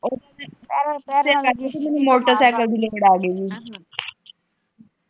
ਮੈਨੂੰ ਮੋਟਰਸਾਈਕਲ ਦੀ ਲੋੜ ਆ ਗਈ ਹੈ।